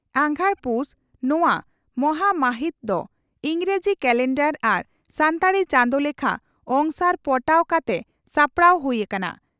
ᱟᱜᱷᱟᱲᱼᱯᱩᱥ, ᱱᱚᱣᱟ ᱢᱟᱦᱟᱢᱟᱹᱦᱤᱛ ᱫᱚ ᱤᱸᱜᱽᱨᱟᱡᱤ ᱠᱟᱞᱮᱱᱰᱟᱨ ᱟᱨ ᱥᱟᱱᱛᱟᱲᱤ ᱪᱟᱸᱫᱚ ᱞᱮᱠᱷᱟ ᱚᱝᱥᱟᱨ ᱯᱚᱴᱟᱣ ᱠᱟᱛᱮ ᱥᱟᱯᱲᱟᱣ ᱦᱩᱭ ᱟᱠᱟᱱᱟ ᱾